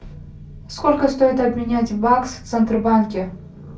сколько стоит обменять бакс в центробанке